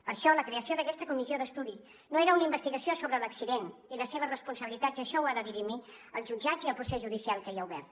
per això la creació d’aquesta comissió d’estudi no era una investigació sobre l’accident i les seves responsabilitats això ho han de dirimir els jutjats i el procés judicial que hi ha obert